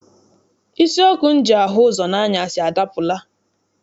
Isi ọkụ m ji ahụ ụzọ n'anyasị adapụla.